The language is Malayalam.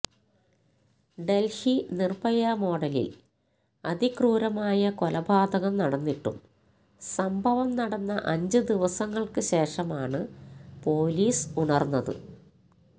ഡല്ഹി നിര്ഭയ മോഡലില് അതിക്രൂരമായ കൊലപാതകം നടന്നിട്ടും സംഭവം നടന്ന അഞ്ച് ദിവസങ്ങള്ക്ക് ശേഷമാണ് പോലീസ് ഉണര്ന്നത്